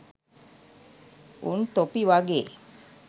උන් තොපි වගේ